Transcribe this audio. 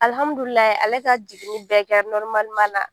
Alhammudulilaye ale ka jiginnin bɛɛ kɛ na.